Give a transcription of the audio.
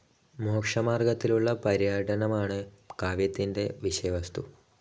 മോക്ഷമാർഗ്ഗത്തിലുള്ള പര്യടനമാണ് കാവ്യത്തിൻറെ വിഷയവസ്തു.